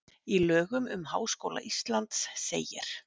Í lögum um Háskóla Íslands segir: